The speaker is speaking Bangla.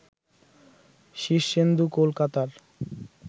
শীর্ষেন্দু কলকাতার